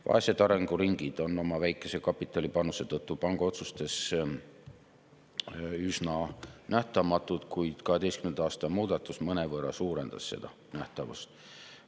Vaesed arenguriigid on oma väikese kapitalipanuse tõttu panga otsustes üsna nähtamatud, kuid 2012. aasta muudatus mõnevõrra suurendas seda nähtavust.